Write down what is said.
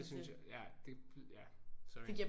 Det synes jeg ja det det ja sorry